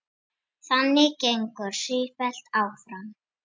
Þannig gengur ferlið sífellt áfram.